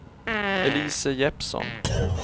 Elise Jeppsson